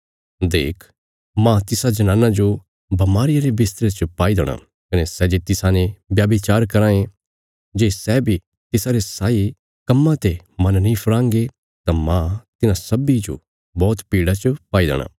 देख मांह तिसा जनाना जो बमारिया रे बिस्तरे च पाई देणा कने सै जे तिसाने व्याभिचार कराँ ये जे सै बी तिसारे साई कम्मां ते मन नीं फिराँगे तां मांह तिन्हां सब्बीं जो बौहत पीड़ा च पाई देणा